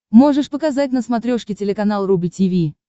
можешь показать на смотрешке телеканал рубль ти ви